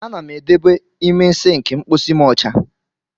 A na m edobe ime sịnkị mkpọsi m ọcha.